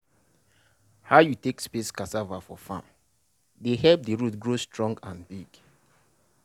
how you take space cassava for farm dey help the root grow strong and big.